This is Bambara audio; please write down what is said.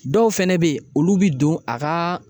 Dɔw fɛnɛ be yen olu bi don a kaaa